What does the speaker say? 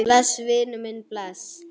Bless, vinur minn, bless.